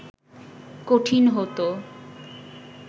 কঠিন হত